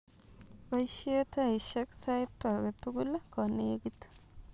Poishe taishek sait agetugul konegit